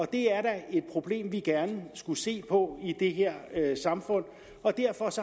det er da et problem vi gerne skulle se på i det her samfund derfor